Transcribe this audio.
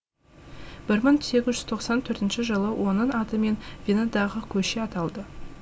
бір мың сегіз жүз тоқсан төртінші жылы оның атымен венадағы көше аталды